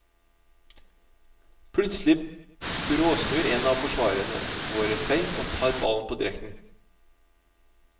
Plutselig bråsnur en av forsvarerne våre seg og tar ballen på direkten.